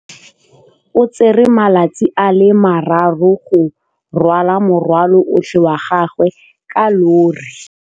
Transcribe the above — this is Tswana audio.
O tsere malatsi a le marraro go rwala morwalo otlhe wa gagwe ka llori.